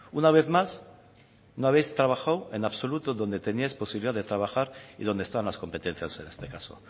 una vez más no habéis trabajado en absoluto donde tenías posibilidad de trabajar y donde están las competencias en este caso